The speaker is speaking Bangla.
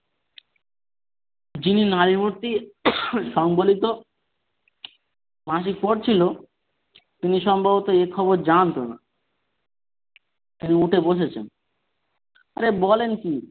যিনি নারীমূর্তি সম্বলিত মাসিক পড়ছিল তিনি সম্ভবত এ খবর জানতো না তিনি উঠে বসেছেন বলছে বলেন কি,